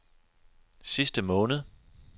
sidste måned